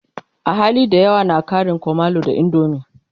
ahali da yawa na Karin kumallo da indomie